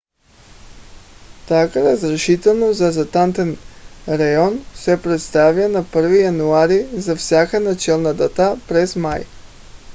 tака разрешително за затънтен район се предоставя на 1-ви януари за всяка начална дата през май